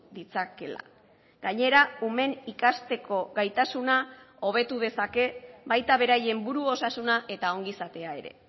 ditzakeela gainera umeen ikasteko gaitasuna hobetu dezake baita beraien buru osasuna eta ongizatea ere